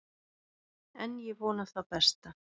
En ég vona það besta.